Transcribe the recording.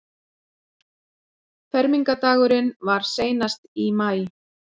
Fermingardagurinn var seinast í maí.